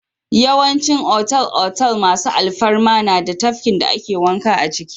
Yawancin otal-otal masu alfarma na da tafkin da ake wanka a ciki.